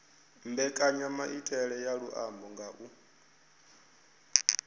mbekanyamaitele ya luambo nga u